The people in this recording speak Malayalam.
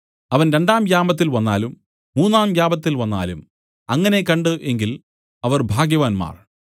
അവൻ രണ്ടാം യാമത്തിൽ വന്നാലും മൂന്നാം യാമത്തിൽ വന്നാലും അങ്ങനെ കണ്ട് എങ്കിൽ അവർ ഭാഗ്യവാന്മാർ